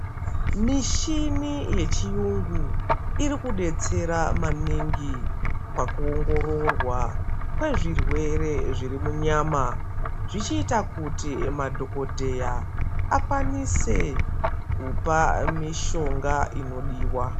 Mishini yechiyungu irikudetsera maningi pakuongororwa kwezvirwere zviri munyama zvichiita kuti madhokodheya akwanise kupa mishonga inodiwa.